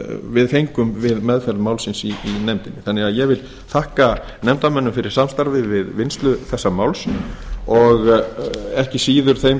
við fengum við meðferð málsins í nefndinni ég vil því þakka nefndarmönnum fyrir samstarfið við vinnslu þessa máls og ekki síður þeim